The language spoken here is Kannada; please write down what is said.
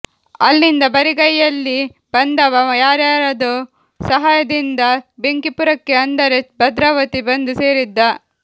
ಅಲ್ಲಿಂದ ಬರಿಗೈಯ್ಯಲ್ಲಿ ಬಂದವ ಯಾರ್ಯಾರದೋ ಸಹಾಯದಿಂದ ಬೆಂಕಿಪುರಕ್ಕೆ ಅಂದರೆ ಭದ್ರಾವತಿ ಬಂದು ಸೇರಿದ್ದ